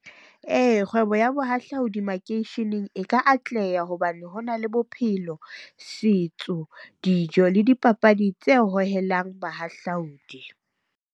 Ee, kgwebo ya bohahlaudi makeisheneng e ka atleha hobane ho na le bophelo, setso, dijo, le dipapadi tse hohelang bahahlaodi.